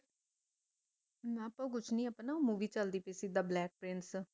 ਨ ਆਪਾ ਕੁਛ ਨੀ ਆਪਣਾ movie ਚਲਦੀ ਪਈ ਸੀ the black prince